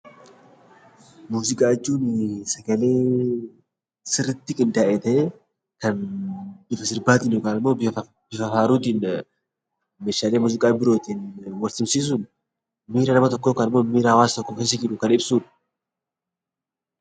Muuziqaa jechuun sagalee sirriitti qindaa'e ta'ee, kan sirbaatiin yookaan immoo bifa faaruutiin, meeshaalee muuziqaa birootiin wal simsiisuun miira nama tokkoo yookaan miira hawaasa tokko keessa jiru kan ibsudha.